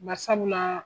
Bari sabula